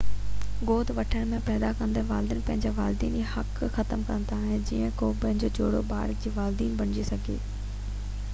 گود وٺڻ ۾ پيدا ڪندڙ والدين پنهنجا والديني حق ختم ڪندا آهن ته جيئن ڪو ٻيو جوڙو ٻار جو والدين بڻجي سگهي